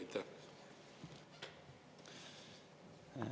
Aitäh!